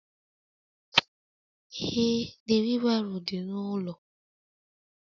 Ee The wheelbarrow dị n'ụlọ